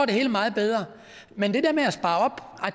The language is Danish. det hele meget bedre men det der med at spare op